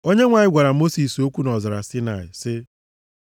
Onyenwe anyị gwara Mosis okwu nʼọzara Saịnaị sị ya,